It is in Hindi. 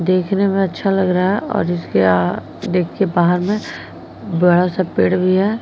देखने में अच्छा लग रहा है जिसके अ देखके बाहर में बड़ा सा पेड़ भी है।